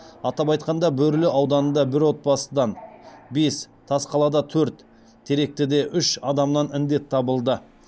атап айтқанда бөрлі ауданында бір отбасыдан бес тасқалада төрт теректіде үш адамнан індет табылды